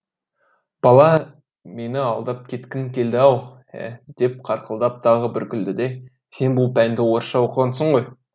бала мені алдап кеткің келді ау ә деп қарқылдап тағы бір күлді де сен бұл пәнді орысша оқығансың ғой